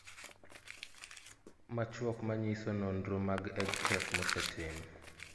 Machuok manyiso nonro mag EdTech mosetim